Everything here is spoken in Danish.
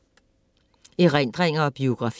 Erindringer og biografier